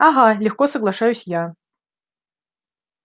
угу легко соглашаюсь я